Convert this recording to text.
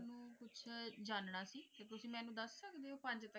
ਮੇਨੂ ਕੁਛ ਜਾਨਣਾ ਸੀ ਤੇ